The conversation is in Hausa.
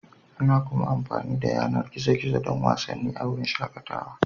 Ana kuma amfani da yanar gizo-gizo don wasanni a wurin shakatawa.